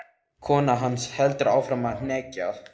Kona hans heldur áfram að hneggja.